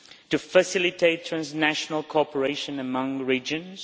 to facilitate transnational cooperation among the regions